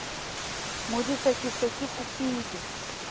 modise ke se ke kopile